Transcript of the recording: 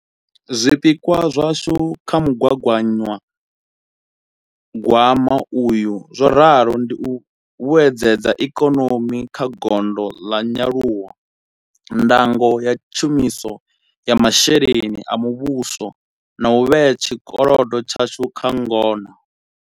Zwipikwa zwashu kha mu gaganyagwama uyu zwo ralo ndi u vhuedzedza ikonomi kha gondo ḽa nyaluwo, ndango ya tshumiso ya masheleni a muvhuso na u vhea tshikolodo tshashu kha ngona.